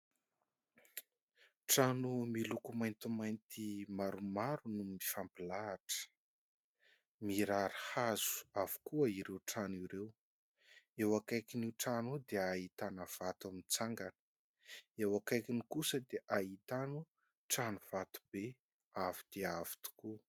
Trano miloko maintimainty maromaro no mifampilahatra. Mirary hazo avokoa ireo trano ireo, eo akaikin'ny trano dia ahitana vato mitsangan,a eo akaikiny kosa dia ahitana trano vato be avo dia avo tokoa.